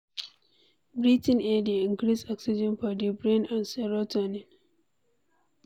Breathing fresh air dey increase oxygen for di brain and serotonin